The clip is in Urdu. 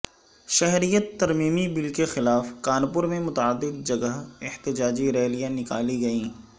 شہریت ترمیمی بل کے خلاف کانپور میں متعدد جگہ احتجاجی ریلیاں نکالی گئیں